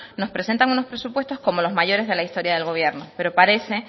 nos presentan unos presupuestos como los mayores de la historia del gobierno pero parece